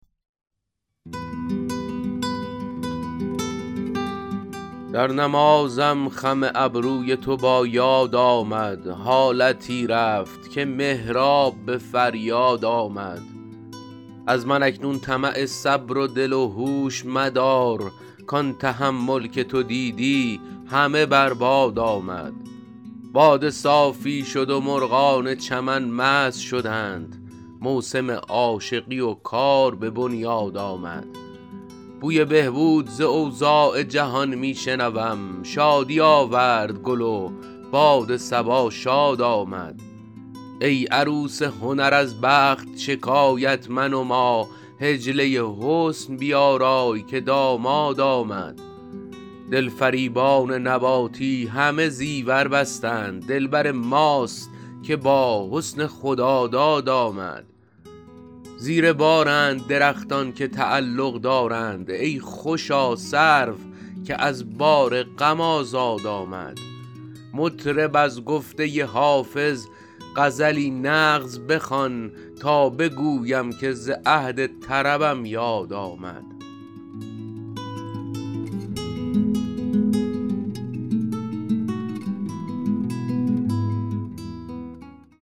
در نمازم خم ابروی تو با یاد آمد حالتی رفت که محراب به فریاد آمد از من اکنون طمع صبر و دل و هوش مدار کان تحمل که تو دیدی همه بر باد آمد باده صافی شد و مرغان چمن مست شدند موسم عاشقی و کار به بنیاد آمد بوی بهبود ز اوضاع جهان می شنوم شادی آورد گل و باد صبا شاد آمد ای عروس هنر از بخت شکایت منما حجله حسن بیارای که داماد آمد دلفریبان نباتی همه زیور بستند دلبر ماست که با حسن خداداد آمد زیر بارند درختان که تعلق دارند ای خوشا سرو که از بار غم آزاد آمد مطرب از گفته حافظ غزلی نغز بخوان تا بگویم که ز عهد طربم یاد آمد